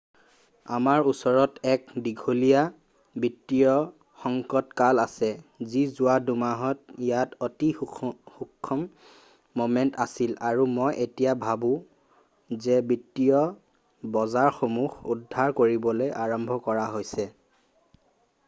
আমাৰ ওচৰত এক দীঘলীয়া বিত্তীয় সংকটকাল আছে যি যোৱা ২-মাহত ইয়াত অতি সূক্ষ্ম ম'মেন্ট আছিল আৰু মই এতিয়া ভাবো যে বিত্তীয় বজাৰসমূহ উদ্ধাৰ কৰিবলৈ আৰম্ভ কৰা হৈছে৷